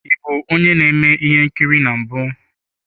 Ị bụ onye na-eme ihe nkiri na mbụ?